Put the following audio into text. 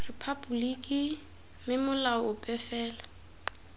rephaboliki mme molao ope fela